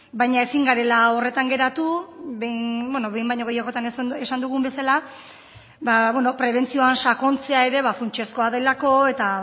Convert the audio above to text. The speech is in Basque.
baina ezin garela horretan geratu behin baino gehiagotan esan dugun bezala prebentzioan sakontzea ere funtsezkoa delako eta